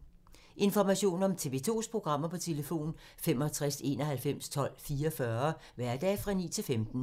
Information om TV 2's programmer: 65 91 12 44, hverdage 9-15.